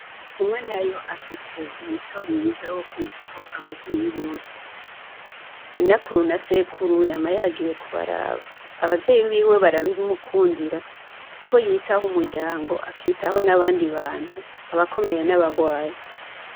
Kumwenayo afise umuco mwiza wo kwitaho abavyeyi bose, inakuru na sekuru yama yagiye kubaraba, abavyeyi biwe barabimukundira kuko yitaho umuryango akitaho n'abandi bantu abakomeye n'abagwaye.